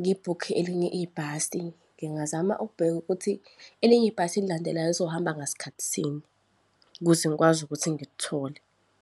ngibhukhe elinye ibhasi. Ngingazama ukubheka ukuthi elinye ibhasi elilandelayo lizohamba ngasikhathi sini, ukuze ngikwazi ukuthi ngilithole.